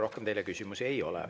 Rohkem teile küsimusi ei ole.